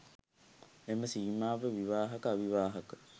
එම සීමාව විවාහක, අවිවාහක,